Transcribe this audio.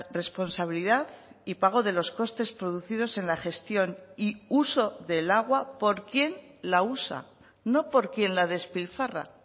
responsabilidad y pago de los costes producidos en la gestión y uso del agua por quien la usa no por quien la despilfarra